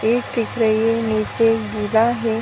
दिख रही है। नीचे गिला है।